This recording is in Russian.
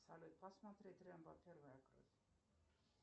салют посмотреть рембо первая кровь